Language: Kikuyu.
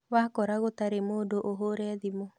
Wakora gũtarĩ mũndũ ũhũre thimũ